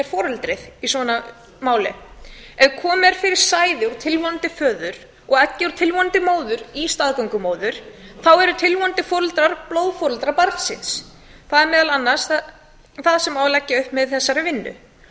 foreldrið í svona máli ef komið er fyrir sæði úr tilvonandi föður og eggi úr tilvonandi móður í staðgöngumóður þá eru tilvonandi foreldrar blóðforeldrar barnsins það er meðal annars það sem á að leggja upp með í þessari vinnu